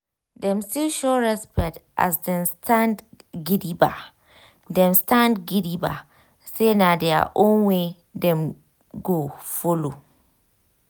dem still show respect as dem stand gidigba dem stand gidigba say na their own way dem go follow.